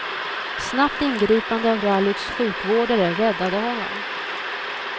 Snabbt ingripande av rallyts sjukvårdare räddade honom.